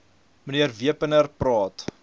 mnr wepener praat